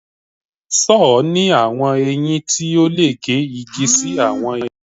Sọ́ọ̀ ni awọn eyin ti o le ge igi si awọn ege